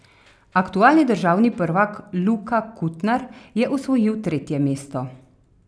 Aktualni državni prvak Luka Kutnar je osvojil tretje mesto.